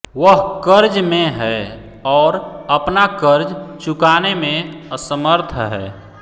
वह कर्ज में है और अपना कर्ज चुकाने में असमर्थ है